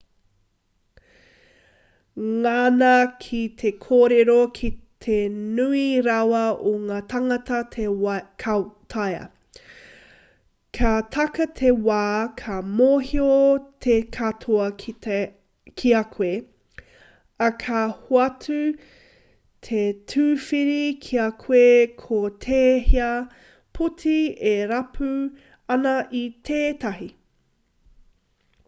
ngana ki te kōrero ki te nui rawa o ngā tāngata ka taea ka taka te wā ka mōhio te katoa ki a koe ā ka hoatu he tīwhiri ki a koe ko tēhea poti e rapu ana i tētahi